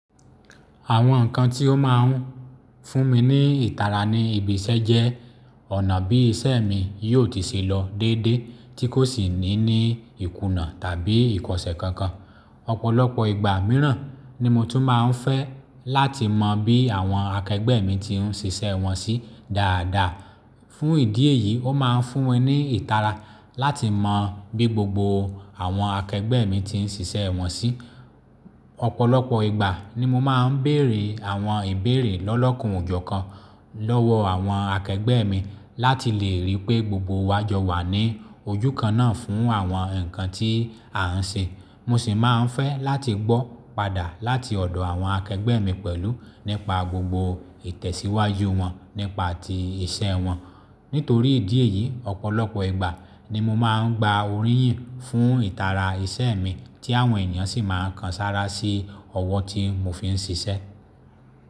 Àwọn nǹkan tí ó máa ń fún mi ní ìtara ní ibi iṣẹ́ jẹ́ ọ̀nà bí iṣẹ́ mi yóò ti ṣe lọ déédéé tí kò sì ní ní ìkùnà tàbí ìkọ̀ṣe kankan. Ọ̀pọ̀lọpọ̀ ìgbà mìíràn ni mo tún máa ń fẹ́ láti mọ bí àwọn akẹgbẹ́ mi ti ń ṣe iṣẹ́ wọn sí dáadáa. Fún ìdí èyí, ó máa ń fún wọn ní ìtara láti mọ bí gbogbo àwọn akẹgbẹ́ mi ti ń ṣe iṣẹ́ wọn sí. Ọ̀pọ̀lọpọ̀ ìgbà ni mo máa ń béèrè àwọn ìbéèrè lọ́lọ́kùn ojú kan lọ́wọ́ àwọn akẹgbẹ́ mi láti lè ríi pé gbogbo wa jọ wà ní ojú kan náà fún àwọn nǹkan tí à ń ṣe. Mo sì máa ń fẹ́ láti gbọ́ padà láti ọ̀dọ̀ àwọn akẹgbẹ́ mi pẹ̀lú nípa gbogbo ìtẹ̀síwájú wọn nípa ti iṣẹ́ wọn. Nítorí ìdí èyí, ọ̀pọ̀lọpọ̀ ìgbà ni mo máa ń gba oríyìn fún ìtara iṣẹ́ mi tí àwọn ènìyàn sì máa ń kan sára sí ọwọ́ tí mo fi ń ṣiṣẹ́.